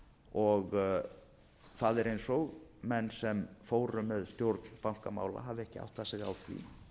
fjármálamarkaðinum og það er eins og menn sem fóru með stjórn bankamála hafi ekki áttað sig á því